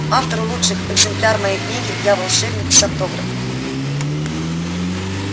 автору лучших экземпляр моей книги я волшебник с автографом